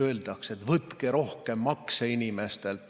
Öeldakse, et võtke rohkem makse inimestelt.